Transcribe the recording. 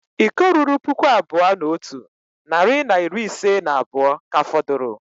Iko ruru puku abụọ na otu narị na iri ise na abụọ ka fọdụrụ